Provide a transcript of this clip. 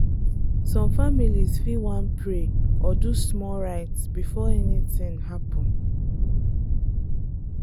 some families fit wan pray or do small rite before anything happen.